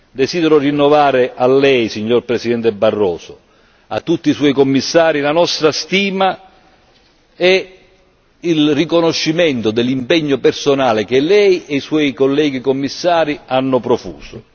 Desidero rinnovare a lei, signor Presidente Barroso, a tutti i suoi Commissari, la nostra stima e il riconoscimento dell'impegno personale che lei e i suoi colleghi Commissari hanno profuso.